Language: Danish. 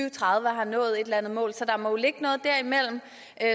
og tredive har nået et eller andet mål så der må jo ligge noget derimellem